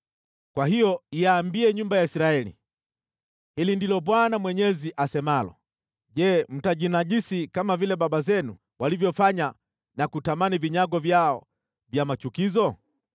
“Kwa hiyo iambie nyumba ya Israeli: ‘Hili ndilo Bwana Mwenyezi asemalo: Je, mtajinajisi kama vile baba zenu walivyofanya na kutamani vinyago vyao vya machukizo?